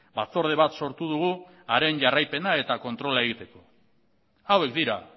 batzorde bat sortu dugu haren jarraipena eta kontrola egiteko hauek dira